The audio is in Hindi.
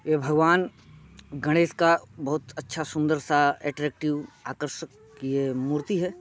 यह भगवान गणेश का बहुत अच्छा सुंदर सा ऐट्रैटिव आकर्षक ये मूर्ति है।